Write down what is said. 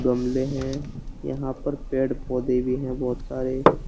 गमले है यहां पर पेड़ पौधे भी है बहोत सारे।